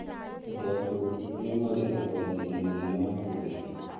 Andũ akũrũ nĩo marĩ ũgwati-inĩ mũnene wa kũgĩa